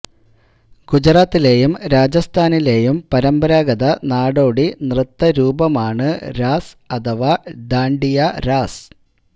ഗുജറാത്തിലേയും രാജസ്ഥാനിലേയും പരമ്പരാഗത നാടോടി നൃത്തരൂപമാണ് രാസ് അഥവാ ഡാൺഡിയ രാസ്